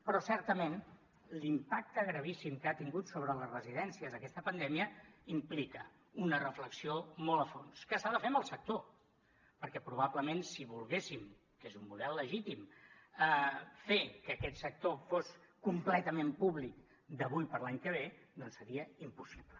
però certament l’impacte gravíssim que ha tingut sobre les residències aquesta pandèmia implica una reflexió molt a fons que s’ha de fer amb el sector perquè probablement si volguéssim que és un model legítim fer que aquest sector fos completament públic d’avui per l’any que ve doncs seria impossible